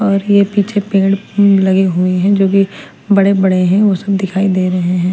और ये पीछे पेड़ लगे हुए हैं जो कि बड़े बड़े हैं वो सब दिखाई दे रहे हैं।